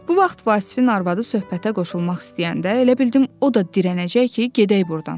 Bu vaxt Vasifin arvadı söhbətə qoşulmaq istəyəndə, elə bildim o da dirənəcək ki, gedək burdan.